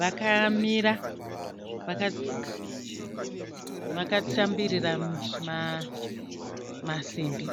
Vakamira vakatsambirira masimbi.